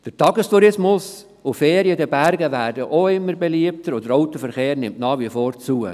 Der Tagestourismus sowie Ferien in den Bergen werden immer beliebter, und der Autoverkehr nimmt nach wie vor zu.